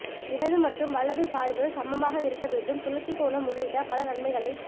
இடது மற்றும் வலது சாய்வு சமமாக இருக்க வேண்டும் சுழற்சி கோணம் உள்ளிட்ட பல நன்மைகளைக்